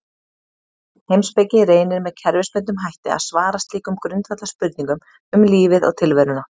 Heimspeki reynir með kerfisbundnum hætti að svara slíkum grundvallarspurningum um lífið og tilveruna.